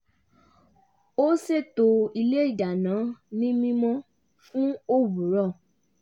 ó ṣètò ilé ìdáná ní mímọ́ fún òwúrọ̀